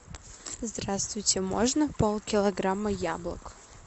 здравствуйте можно пол килограмма яблок